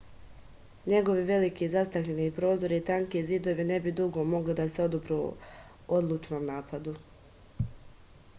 njegovi veliki zastakljeni prozori i tanki zidovi ne bi dugo mogli da se odupru odlučnom napadu